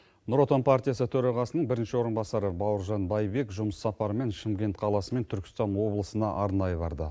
нұр отан партиясы төрағасының бірінші орынбасары бауыржан байбек жұмыс сапарымен шымкент қаласы мен түркістан облысына арнайы барды